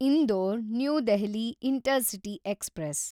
Indore– new Delhi intercity express